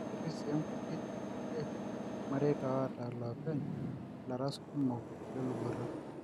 ketii si nkuti irkulie mareita oota loopeny laras kumok le luboto